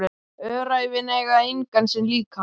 Öræfin eiga engan sinn líka.